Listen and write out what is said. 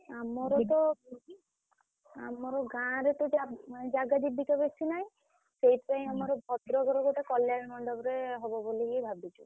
ଆମର ତ ଆମର ଗାଁ ରେ ତ ଜାଗା ଜୁଗୁତି ବେଶି ନାହିଁ